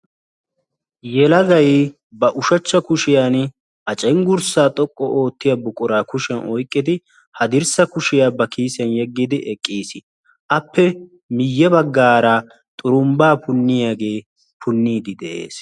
yelagay ba ushachcha kushiyaan cenggurssay xoqqu oottiya buqura ba kushiyaan oyqqidihaddirssa kushiyaa ba kiisiya yediddi eqqiis; appe miyye baggara xurumbba punniyaaga punniddes de'ees